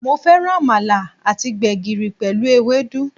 Mo féràn Àmàlà àti gbègìrì pèlú ewédú